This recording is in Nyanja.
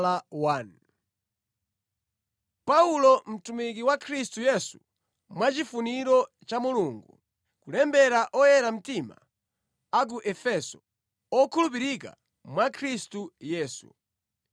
Paulo, mtumwi wa Khristu Yesu mwachifuniro cha Mulungu. Kulembera oyera mtima a ku Efeso, okhulupirika mwa Khristu Yesu: